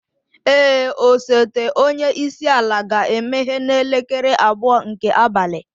Ee, osote onye isi ala ga-emeghe n'elekere abụọ nke abalị.